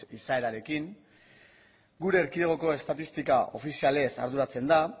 izaerarekin gure erkidegoko estatistika ofizialez arduratzen da